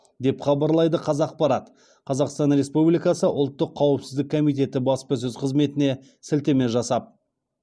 деп хабарлайды қазақпарат қазақстан республикасы ұлттық қауіпсіздік комитеті баспасөз қызметіне сілтеме жасап